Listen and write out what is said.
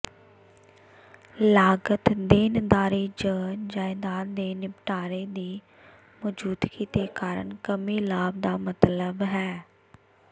ਲਾਗਤ ਦੇਣਦਾਰੀ ਜ ਜਾਇਦਾਦ ਦੇ ਨਿਪਟਾਰੇ ਦੀ ਮੌਜੂਦਗੀ ਦੇ ਕਾਰਨ ਕਮੀ ਲਾਭ ਦਾ ਮਤਲਬ ਹੈ